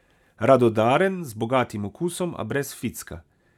Radodaren, z bogatim okusom, a brez ficka.